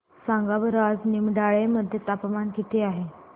सांगा बरं आज निमडाळे मध्ये तापमान किती आहे